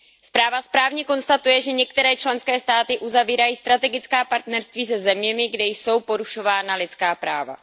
Zpráva správně konstatuje, že některé členské státy uzavírají strategická partnerství se zeměmi, kde jsou porušována lidská práva.